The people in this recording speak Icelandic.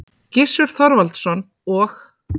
Gissur Þorvaldsson og